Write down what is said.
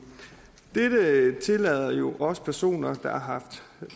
dette tillader jo også personer der har